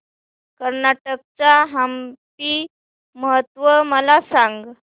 कर्नाटक चा हम्पी महोत्सव मला सांग